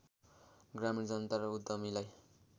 ग्रामीण जनता र उद्यमीलाई